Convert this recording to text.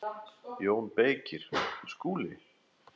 JÓN BEYKIR: Skúli!